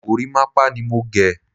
Gorímápá ni mo gé.